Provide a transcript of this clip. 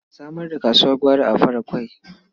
A samar da kasuwar gwari a Faraƙwai.